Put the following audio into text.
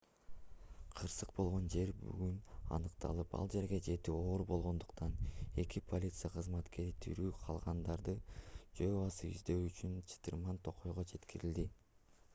кырсык болгон жер бүгүн аныкталып ал жерге жетүү оор болгондуктан эки полиция кызматкери тирүү калгандарды жөө басып издөө үчүн чытырман токойго жеткирилди